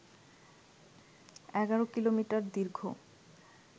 ১১ kilometre দীর্ঘ